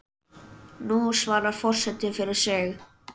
Nú svarar forseti fyrir sig.